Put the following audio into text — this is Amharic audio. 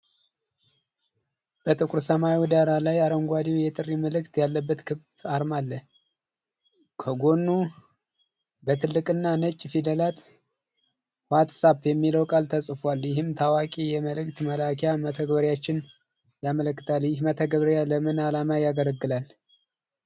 በጥቁር ሰማያዊ ዳራ ላይ፣ አረንጓዴው የጥሪ ምልክት ያለበት ክብ አርማ አለ። ከጎኑ በትልቅና ነጭ ፊደላት "ዋትስአፕ" የሚለው ቃል ተጽፏል፣ ይህም ታዋቂ የመልእክት መላኪያ መተግበሪያን ያመለክታል። ይህ መተግበሪያ ለምን ዓላማ ያገለግላል?